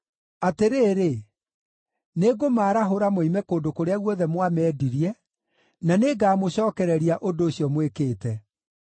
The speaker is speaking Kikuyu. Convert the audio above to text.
“Atĩrĩrĩ, nĩngũmarahũra moime kũndũ kũrĩa guothe mwamendirie, na nĩngamũcookereria ũndũ ũcio mwĩkĩte.